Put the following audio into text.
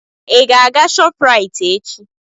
Ị ga-aga Shopraịt echi?